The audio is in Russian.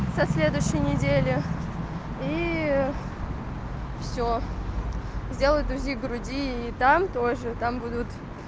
со следующей недели и всё сделают узи груди и там тоже там будут